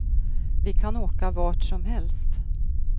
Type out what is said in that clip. Vi kan åka vart som helst.